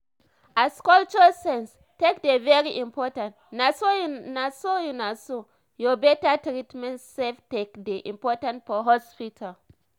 as cultural sense take dey very important naso ur naso ur better treatment sef take dey important for hospital